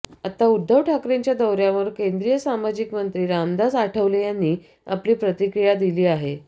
आता उद्धव ठाकरेंच्या दौऱ्यावर केंद्रीय सामाजिक मंत्री रामदास आठवले यांनी आपली प्रतिक्रिया दिली आहे